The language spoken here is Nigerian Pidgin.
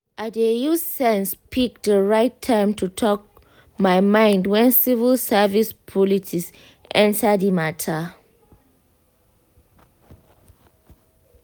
i dey use sense pick the right time to talk my mind when civil service politics enter the matter.